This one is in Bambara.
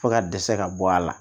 Fo ka dɛsɛ ka bɔ a la